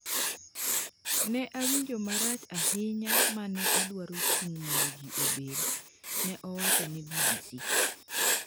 Ne awinjo marach ahinya ma ne adwaro chung’ mondo ji obed , ne owacho ne BBC.